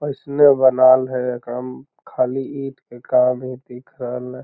अइसने बनाल है कम खाली इट के काम ही दिख रहलई --